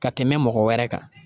Ka tɛmɛ mɔgɔ wɛrɛ kan